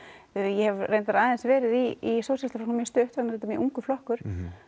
ég hef reyndar verið í sósjalistaflokknum mjög stutt hann er mjög ungur flokkur